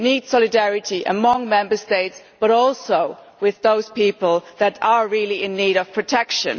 We need solidarity amongst Member States, but also with those people who are really in need of protection.